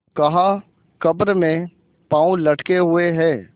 कहाकब्र में पाँव लटके हुए हैं